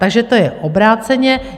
Takže to je obráceně.